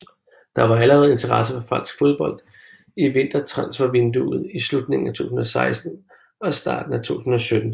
Der var allerede interesse fra fransk fodbold i vintertransfervinduet i slutningen af 2016 og starten af 2017